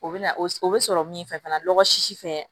O bɛ na o bɛ sɔrɔ min fɛ fana lɔgɔ sisi fɛ